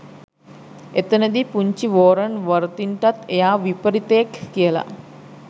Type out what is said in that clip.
එතෙන්දි පුංචි Warren Worthington එයා විපරිතයෙක් කියලා